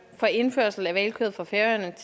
for indførsel af hvalkød fra færøerne